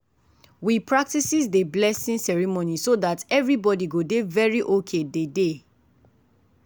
we practices dey blessing ceremony so that everybody go dey very ok dey day.